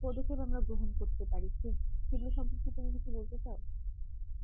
পদক্ষেপ আমরা গ্রহণ করতে পারি সেগুলোর সম্পর্কে তুমি কিছু বলতে চাও